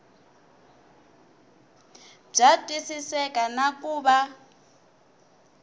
bya twisiseka na ku va